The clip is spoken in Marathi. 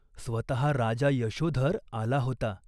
स्वतः राजा यशोधर आला होता.